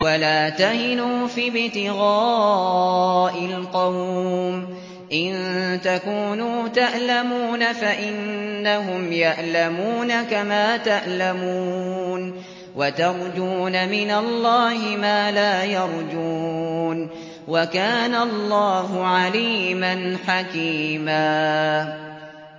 وَلَا تَهِنُوا فِي ابْتِغَاءِ الْقَوْمِ ۖ إِن تَكُونُوا تَأْلَمُونَ فَإِنَّهُمْ يَأْلَمُونَ كَمَا تَأْلَمُونَ ۖ وَتَرْجُونَ مِنَ اللَّهِ مَا لَا يَرْجُونَ ۗ وَكَانَ اللَّهُ عَلِيمًا حَكِيمًا